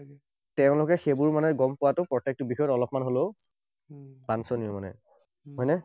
তেঁওলোকে সেইবোৰ মানে গম পোৱাটো প্ৰত্যেকেটো বিষয়ত অলপমান হলেও বাঞ্চনীয় মানে। হয়নে?